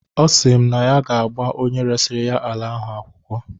Ọsị m na ya ga-agba onye resiri ya ala ahụ akwụkwọ.